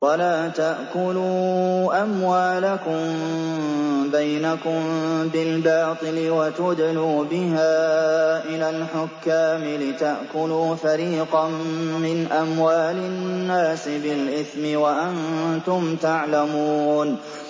وَلَا تَأْكُلُوا أَمْوَالَكُم بَيْنَكُم بِالْبَاطِلِ وَتُدْلُوا بِهَا إِلَى الْحُكَّامِ لِتَأْكُلُوا فَرِيقًا مِّنْ أَمْوَالِ النَّاسِ بِالْإِثْمِ وَأَنتُمْ تَعْلَمُونَ